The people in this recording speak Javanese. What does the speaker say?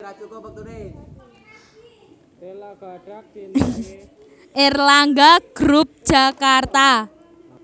Erlangga group Jakarta